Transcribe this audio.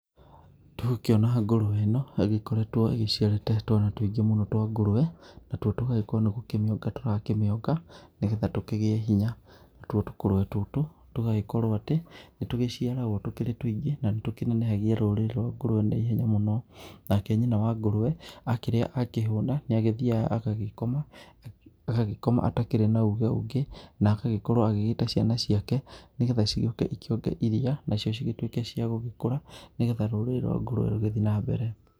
Tũgũkĩona ngũrũwe ĩno ĩgĩkoretwo ĩgĩciarĩte twana tũingĩ mũno twa ngũrũwe, natuo tũgagĩkorwo nĩ gũkĩmĩonga tũrakĩmĩonga, nĩgetha tũkĩgĩe hinya, natuo tũkũrwe tũtũ, tũgagĩkorwo atĩ, nĩ tũgĩciaragwo tũkĩrĩ tũingĩ na nĩ tũnenehagia rũrĩrĩ rwa ngũrũwe na ihenya mũno, nake nyina wa ngũrũwe, akĩrĩa akĩhũna nĩ agĩthiaga agagĩkoma, agagĩkoma atakĩrĩ na uge ũngĩ, na agagĩkorwo agĩta ciana ciake, nĩgetha cigĩũke ikĩonge iria nacio cigĩtuĩke cia gũgĩkũra, nĩgetha rũrĩrĩ rwa ngũrũwe rũgĩthiĩ na mbere.